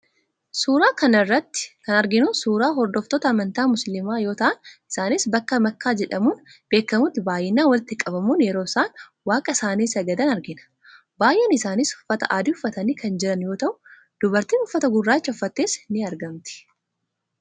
Suuraa kana irratti kan arginu suuraa hordoftoota amantaa musiliimaa yoo ta'an, isaanis bakka makkaa jedhamuun beekamutti baay'inaan walitti qabamuun yeroo isaan Waaqa isaanii sagadan argina. Baay'een isaaniis uffata adii uffatanii kan jiran yoo ta'u, dubartiin uffata gurraachaa uffattes in argamti.